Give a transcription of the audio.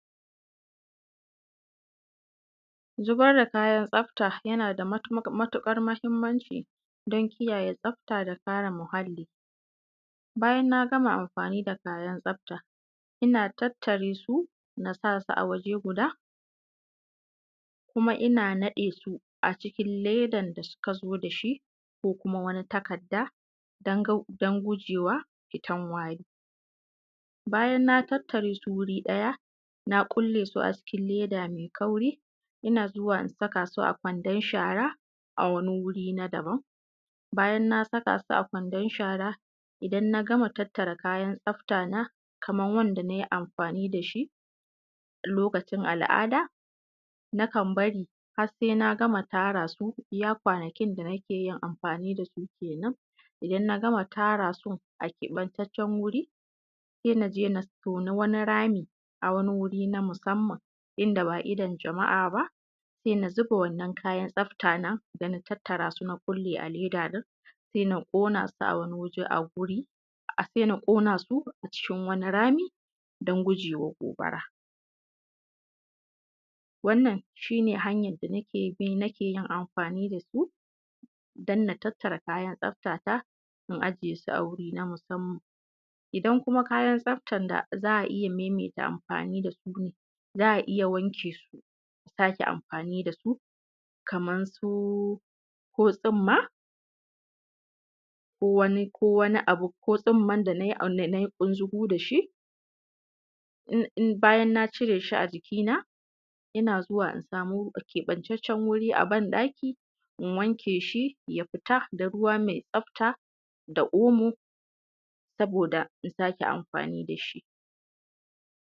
Zubar da kayan tsafta yana da matuƙar mahimmanci don kiyaye tsafta da karee muhalli. Bayan naa gama amfaani da kayan tsafta, ina tattare su na saa su a waje gudaa, kuma ina naɗee su a cikin ledan da suka zo da shi ko kuma wani takadda don gujeewa fitan wari. Bayan naa tattaree su wuri ɗaya na ƙulle su a cikin leeda mai kauri, ina zuwa in saka su a kwandon shara a wani wuri na daban. Bayan naa saka su a kwandon shara idan na gama tattara kayan tsaftana kaman wanda na yi amfaani da shi a lokacin al'adaa, na kan barii har sai naa gama tara su iyaa kwanakin da nake yin amfaani da su keenan, idan na gama tara su a keɓantaccen wuri, sai na je na tooni wani rami a wani wuri na musamman, inda ba idon jama'a ba, sai na zuba wannan kayan tsafta na da na tattaraasu na ƙullee a leeda ɗin, sai na ƙona su a wani waje a wuri sai na ƙona su a cikin wani rami don gujee wa gobara. Wannan shi ne hanyan da nakee bi nake yin amfaani da su don na tattara kayan tsaftata in ajiyee su a wuri na musamman. Idan kuma kayan tsaftan da za a iya maimaita amfaani da su ne, za a iya wanke su a sake amfaani da su kaman su ko tsumma ko wani ko wani abu ko tsumman da na yi ƙunzugu da shi, bayan naa ciree shi a jikina ina zuwa in samu keɓantaccen wuri a ban-ɗaki in wanke shi ya fita da ruwa mai tsafta da oomo sabooda in sake amfaani da shi.